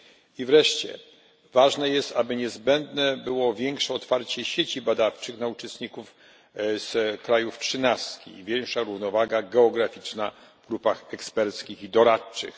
I wreszcie ważne jest, aby było większe otwarcie sieci badawczych na uczestników z krajów trzynastki, większa równowaga geograficzna w grupach eksperckich i doradczych.